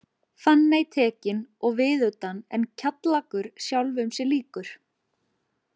Fanney tekin og viðutan en Kjallakur sjálfum sér líkur.